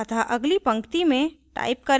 अतः अगली पंक्तिमें type करें